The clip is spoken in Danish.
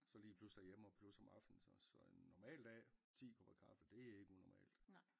Så lige plus derhjemme og plus om aftenen så så en normal dag 10 kopper kaffe det er ikke unormalt